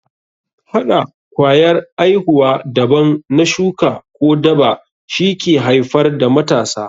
Hɗa kwayar aihuwa daban na shuka ko daba shi ke haifar da matasa.